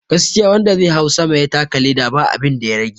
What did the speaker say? Gaskiya wanda zai hau sama ya taka leda ba abinda ya rage